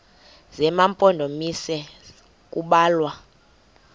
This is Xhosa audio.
zema mpondomise kubalwa